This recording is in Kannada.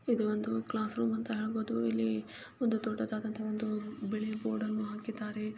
ಇದು ಒಂದು ಕ್ಲಾಸ್ ರೂಮ್ ಅಂತ ಹೇಳಬಹುದು. ಇಲ್ಲಿ ಒಂದು ದೊಡ್ಡದಾದಂತಹ ಒಂದು ಬಿಳಿ ಬೋರ್ಡ್ ಅನ್ನು ಹಾಕಿದ್ದಾರೆ.